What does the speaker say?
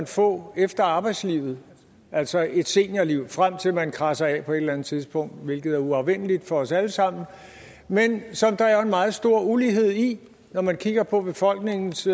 få efter arbejdslivet altså et seniorliv frem til at man kradser af på et eller andet tidspunkt hvilket er uafvendeligt for os alle sammen men som der jo er en meget stor ulighed i når man kigger på befolkningens